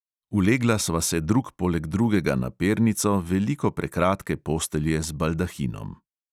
Ulegla sva se drug poleg drugega na pernico veliko prekratke postelje z baldahinom.